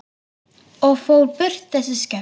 Og fór burt, þessi skepna.